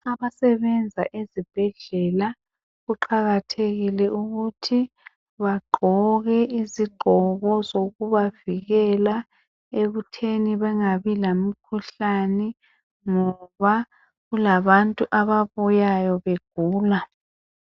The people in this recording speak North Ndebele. Abasebenza ezibhedlela, kuqakathekile ukuthi bagqoke izigqoko zokubavikela ekutheni bengabi lemikhuhlane ngoba kula bantu ababuyayo begula.